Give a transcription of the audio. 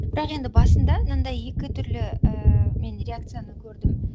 бірақ енді басында мынандай екі түрлі ііі мен реакцияны көрдім